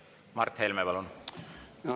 Mart Helme, palun!